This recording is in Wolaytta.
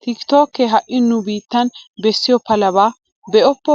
Tiki tookkee ha"i nu biittan bessiyo palabaa ballunne be'oppo.